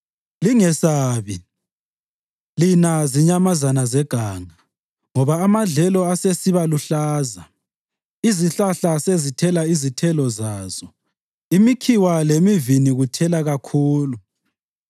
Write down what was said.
Lingesabi, lina zinyamazana zeganga, ngoba amadlelo asesiba luhlaza. Izihlahla sezithela izithelo zazo; imikhiwa lemivini kuthela kakhulu.